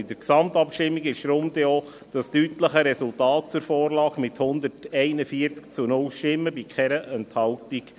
In der Gesamtabstimmung resultierte deshalb auch das deutliche Resultat zur Vorlage von 141 zu 0 Stimmen bei keiner Enthaltung.